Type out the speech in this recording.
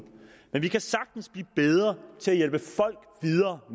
men vi kan sagtens blive bedre til at hjælpe folk videre